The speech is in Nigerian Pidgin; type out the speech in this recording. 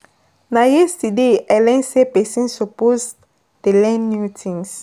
Na yesterday I learn sey pesin suppose dey learn new thing.